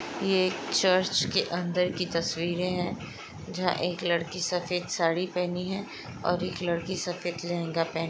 ये एक चर्च के अंदर की तस्वीरें हैजहाँ एक लड़की सफेद साड़ी पहनी है और एक लड़की सफेद लेहंगा पह--